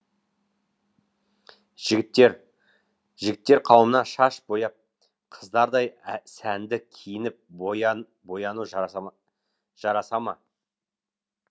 жігіттер жігіттер қауымына шаш бояп қыздардай сәнді киініп бояну жарасама жарасама